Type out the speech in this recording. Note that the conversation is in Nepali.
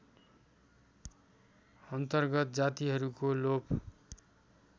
अन्तर्गत जातिहरूको लोप